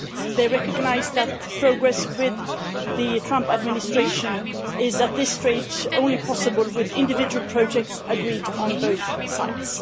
They recognise that progress with the Trump administration is at this stage only possible with individual projects agreed on both sides.